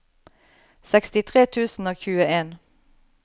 sekstitre tusen og tjueen